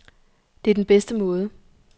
Det er den bedste måde.